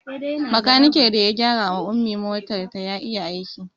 Bakanikin da ya gyara wa Ummi motar ta ya iya aiki